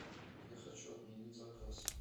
я хочу отменить заказ